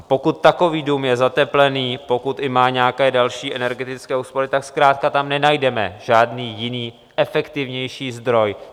A pokud takový dům je zateplený, pokud i má nějaké další energetické úspory, tak zkrátka tam nenajdeme žádný jiný, efektivnější zdroj.